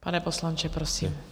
Pane poslanče, prosím.